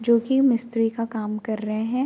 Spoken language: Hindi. जो कि मिस्त्री का काम कर रहे हैं।